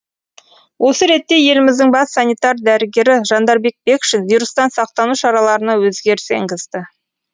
осы ретте еліміздің бас санитар дәрігері жандарбек бекшин вирустан сақтану шараларына өзгеріс енгізді